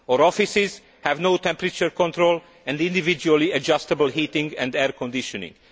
Our offices have no temperature control or individually adjustable heating and air conditioning.